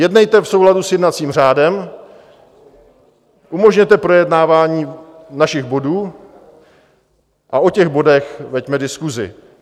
Jednejte v souladu s jednacím řádem, umožněte projednávání našich bodů a o těch bodech veďme diskusi.